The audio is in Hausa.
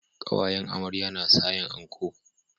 Kawayen amarya na sayan anco